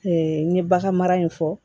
n ye bagan mara in fɔ